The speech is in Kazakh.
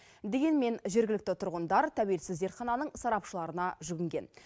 дегенмен жергілікті тұрғындар тәуелсіз зертхананың сарапшыларына жүгінген